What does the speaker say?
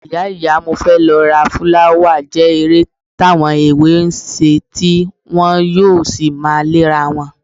Ìyá ìyá mo fẹ́ lọ ra fúláwà jẹ́ eré táwọn èwe ń ṣe tí wọn yóò sì máa léra wọn